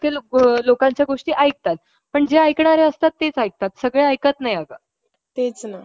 आणि सुरत भुसावळ दोन्ही section मुंबई मंडळात येतात. त्यामुळे या ला महाराष्ट्र आणी गुजरात ला या दोन्ही